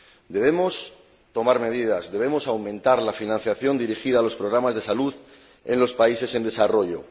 Debemos tomar medidas, debemos aumentar la financiación dirigida a los programas de salud en los países en desarrollo.